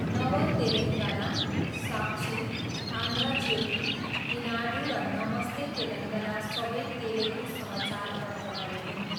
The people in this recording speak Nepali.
नव तेलङ्गाना, साक्षी, आन्ध्र ज्योति, इनाडू र नमस्ते तेलङ्गाना सबै तेलुगु समाचार पत्रहरू हुन्।